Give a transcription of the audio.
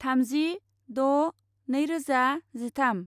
थामजि द' नैरोजा जिथाम